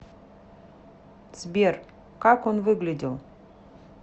сбер как он выглядел